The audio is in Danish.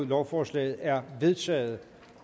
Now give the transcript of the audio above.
lovforslaget er vedtaget